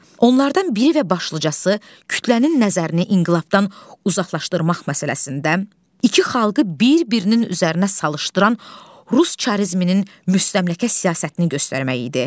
Onlardan biri və başlıcası kütlənin nəzərini inqilabdan uzaqlaşdırmaq məsələsində iki xalqı bir-birinin üzərinə salışdıran rus çızminin müstəmləkə siyasətini göstərmək idi.